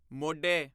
ਮੋਢੇ